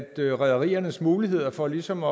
at rederiernes muligheder for ligesom